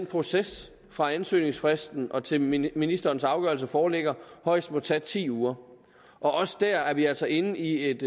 processen fra ansøgningsfristen og til ministerens afgørelse foreligger højst må tage ti uger også der er vi altså inde i et